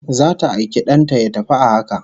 Zata aiki dan ta ya tafi a haka